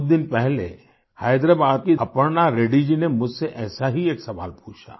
कुछ दिन पहले हैदराबाद की अपर्णा रेड्डी जी ने मुझसे ऐसा ही एक सवाल पूछा